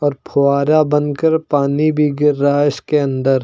और फुहारा बनकर पानी भी गिर रहा है इसके अंदर।